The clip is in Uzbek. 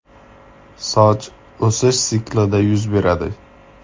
Soch o‘sish siklida yuz beradi.